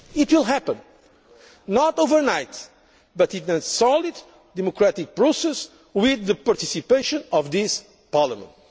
solution. It will happen not overnight but in a solid, democratic process with the participation of this